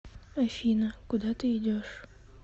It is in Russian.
афина куда ты идешь